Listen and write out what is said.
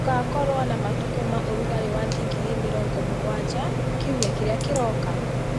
Gũgakorũo na matukũ ma ũrugarĩ wa digrii mĩrongo mũgwanja kiumia kĩrĩa kĩroka